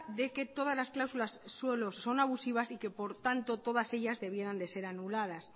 de que todas las cláusulas suelo son abusiva y que por tanto todas ellas debieran de ser anuladas